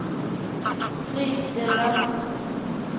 fristille